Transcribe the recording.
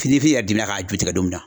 Fini fi yɛrɛ demina k'a ju tigɛ don min na